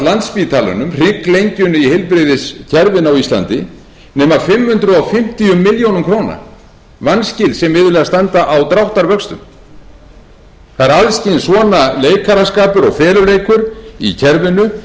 landspítalanum hrygglengjunni í heilbrigðiskerfinu á íslandi nema fimm hundruð fimmtíu milljónir króna vanskil sem iðulega standa á dráttarvöxtum það er alls kyns svona leikaraskapur og feluleikur í kerfinu